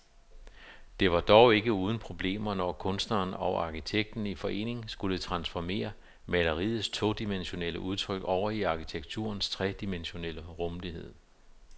Det var dog ikke uden problemer, når kunstneren og arkitekten i forening skulle transformere maleriets todimensionelle udtryk over i arkitekturens tredimensionelle rumlighed.